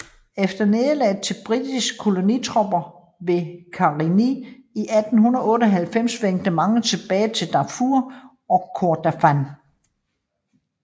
Efter nederlaget til britiske kolonitropper ved Karari i 1898 vendte mange tilbage til Darfur og Kordofan